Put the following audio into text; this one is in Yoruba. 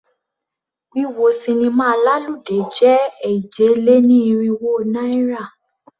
Wíwọ sinimá lálùdé jẹ́ èje-lé-ní-irínwó náírà.